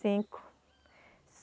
Cinco.